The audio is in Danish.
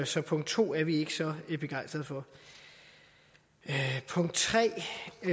så punkt to er vi ikke så begejstrede for punkt tre